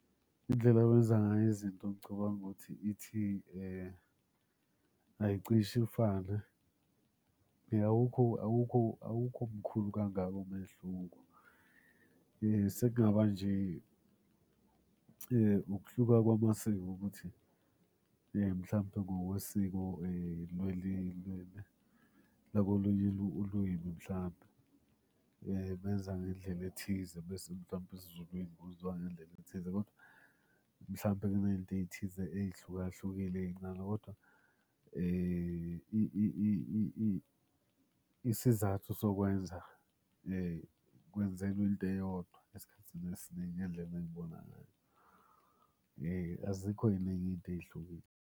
Indlela yokwenza ngayo izinto ngicabanga ukuthi ithi ayicishe ifane. Awukho awukho awukho mkhulu kangako umehluko. Sekungaba nje ukuhluka kwamasiko ukuthi mhlampe ngokwesiko lakolunye ulwimi mhlampe benza ngendlela ethize. Bese mhlampe esiZulwini kwenziwa ngendlela ethize, kodwa mhlambe kuney'nto ey'thize ey'hluka hlukile ey'ncane kodwa isizathu sokwenza kwenzelwa into eyodwa esikhathini esiningi ngendlela engibona ngayo. Azikho iy'ningi iy'nto ey'hlukile.